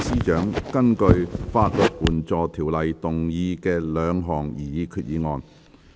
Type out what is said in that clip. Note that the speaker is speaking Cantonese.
政務司司長根據《法律援助條例》動議的兩項擬議決議案。